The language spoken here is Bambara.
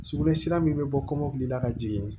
Sugunɛ sira min bɛ bɔ kɔmɔkili la ka jigin